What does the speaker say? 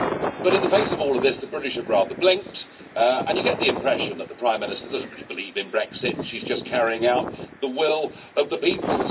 But in the face of all of this the British have blinked, and you get the impression that the Prime Minister doesn't really believe in Brexit, she's just carrying out the will of the people.